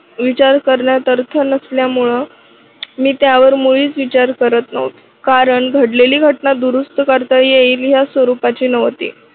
विचार करण्यात अर्थ नसल्यामुळे मी त्यावर मुळीच विचार करत नव्हते. कारण घडलेली घटना दुरुस्त करता येईल या स्वरूपाची नव्हती.